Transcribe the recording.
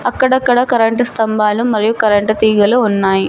అక్కడక్కడ కరెంటు స్తంభాలు మరియు కరెంటు తీగలు ఉన్నాయ్.